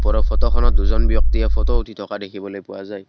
ওপৰৰ ফটোখনত দুজন ব্যক্তিয়ে ফটো উঠি থকা দেখিবলৈ পোৱা যায়।